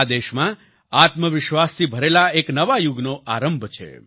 આ દેશમાં આત્મવિશ્વાસથી ભરેલા એક નવા યુગનો આરંભ છે